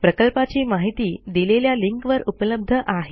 प्रकल्पाची माहिती दिलेल्या लिंकवर उपलब्ध आहे